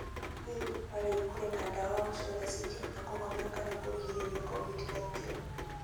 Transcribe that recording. Hihi kwa rĩu kũrĩ na ndawa o ciothe cingĩhota kũhonia kana kũgirĩrĩria Covid-19?